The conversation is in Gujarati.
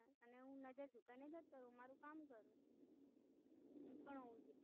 અને હું નઝર છુપાવીને જતો રાઉ, મારુ કામ કરું એ પણ હોઉં જોઈએ